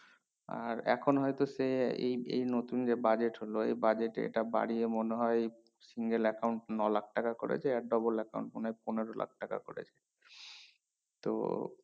আর এখন হয়তো সে এই এই নতুন যে budget হলো এই budget এ এটা বাড়িয়ে মনে হয় single account নলাখ টাকা করেছে আর double account মনে হয় পনেরো লাখ টাকা করেছে